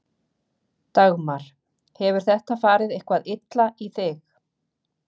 Dagmar: Hefur þetta farið eitthvað illa í þig?